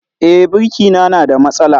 E, birki na na da matsala